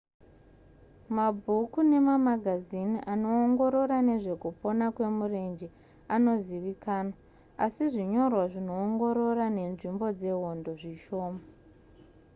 mabhuku nemamagazini anoongorora nezvekupona kwemurenje anozivikanzwa asi zvinyorwa zvinoongorora nenzvimbo dzehondo zvishoma